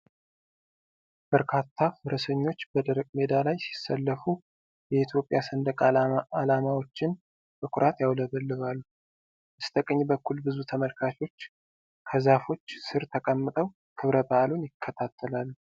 በርካታ ፈረሰኞች በደረቅ ሜዳ ላይ ሲሰለፉ፣ የኢትዮጵያ ሰንደቅ ዓላማዎችን በኩራት ያውለበልባሉ። በስተቀኝ በኩል ብዙ ተመልካቾች በዛፎች ስር ተቀምጠው ክብረ በዓሉን ይከታተላሉ።